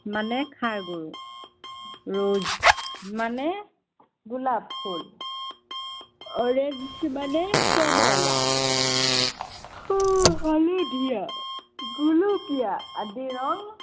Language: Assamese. মানে ষাড় গৰু। rose মানে গোলাপ ফুল, orange মানে কমলা। হালধীয়া, গোলপীয়া আদি ৰং